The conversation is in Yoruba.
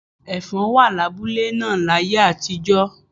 Ẹ̀fọ̀n wà lábúlé náà láyé àtijọ́.